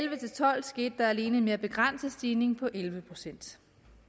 tolv skete der alene en mere begrænset stigning på elleve procent